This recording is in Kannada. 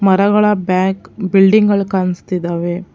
ಮರಗಳ ಬ್ಯಾಕ್ ಬಿಲ್ಡಿಂಗ್ ಗಳು ಕಾಣಿಸ್ತಿದಾವೆ.